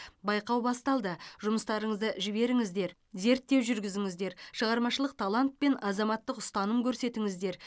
байқау басталды жұмыстарыңызды жіберіңіздер зерттеу жүргізіңіздер шығармашылық талант пен азаматтық ұстаным көрсетіңіздер